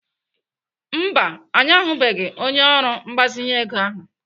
Mba, anyị ahụbeghị onye ọrụ mgbazinye ego ahụ.